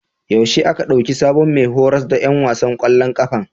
Yaushe aka ɗauki sabon mai horas da ƴan wasan ƙwallon ƙafan?